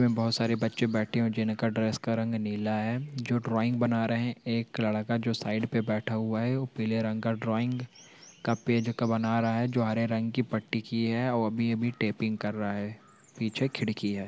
बहुत सारे बच्चे बैठे हुए हैं जिनका ड्रेस का रंग नीला हैं जो ड्राइंग बना रहे हैं एक लड़का साइड पे बैठा हुआ हैं ओ पीले रंग का ड्राइंग का पेज पर बना रहा हैं जो हरे रंग की पट्टी किये हैं ओ अभी - अभी टेपिंग कर रहा हैं पीछे खिड़की हैं।